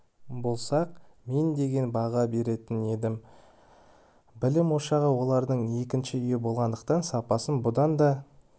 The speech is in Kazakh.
болсақ мен деген баға беретін едім білім ошағы балалардың екінші үйі болғандықтан сапасын бұдан да